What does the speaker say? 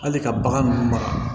Hali ka bagan ninnu maga